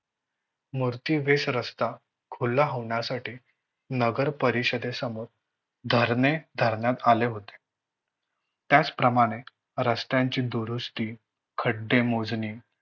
मूर्ती वेष रस्ता खूला होण्यासाठी नगरपरिषदे समोर धरणे धरण्यात आले होते. त्याचप्रमाणे रस्त्याची दुरुस्ती, खड्डे मोजणे